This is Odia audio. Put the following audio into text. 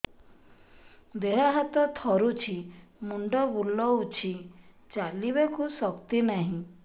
ଦେହ ହାତ ଥରୁଛି ମୁଣ୍ଡ ବୁଲଉଛି ଚାଲିବାକୁ ଶକ୍ତି ନାହିଁ